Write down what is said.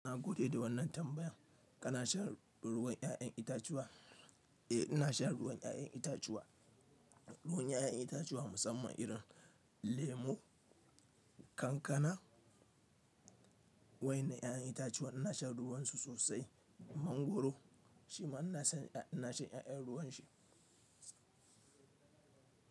Ina gode da wannan tambayan. Kana shan ruwan 'ya'yan itatuwa? Eh, ina shan ruwan 'ya'yan itatuwa. Ruwan 'ya'yan itatuwa musamman irin lemo, kankana. Wai na 'ya'yan itatuwa ina shan ruwan su sosai. Mangwaro shi ma ina shan 'ya'yan ruwan shi.